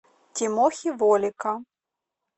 тимохи волика